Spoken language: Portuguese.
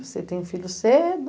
Você tem um filho cedo,